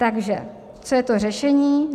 Takže co je to řešení?